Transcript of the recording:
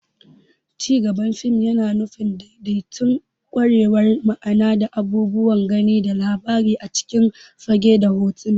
Cigaban fim yana nufin daidaitattun kwararar ma'ana na abubuwan gani da labari a cikin fage da hotuna.